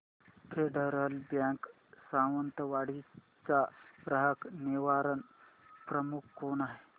federal Bank Sawantwadi चा ग्राहक निवारण प्रमुख कोण आहे